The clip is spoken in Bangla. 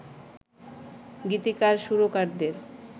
গীতিকার সুরকারদের